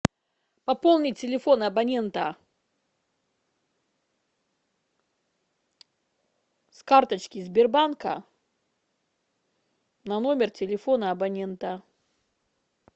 попони телефон абонента с карточки сбербанка на номер телефона абонента